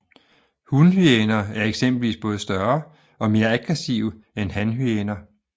Hunhyæner er eksempelvis både større og mere aggressive end hanhyæner